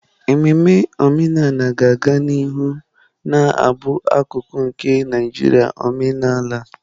Ememe omenala ga-aga n'ihu na-abụ akụkụ nke njirimara omenala.